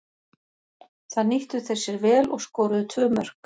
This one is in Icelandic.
Það nýttu þeir sér vel og skoruðu tvö mörk.